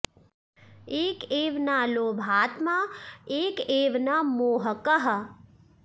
एक एव न लोभात्मा एक एव न मोहकः